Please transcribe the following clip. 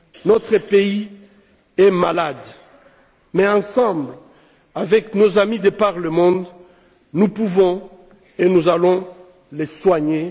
Notre pays est malade mais, ensemble, avec nos amis de par le monde, nous pouvons et nous allons le soigner.